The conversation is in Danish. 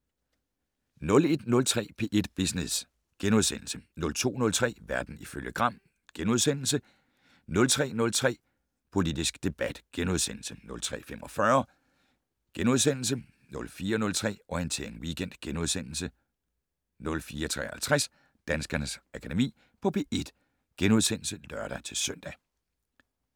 01:03: P1 Business * 02:03: Verden ifølge Gram * 03:03: Politisk debat * 03:45: Panorama * 04:03: Orientering Weekend * 04:53: Danskernes Akademi på P1 *(lør-søn)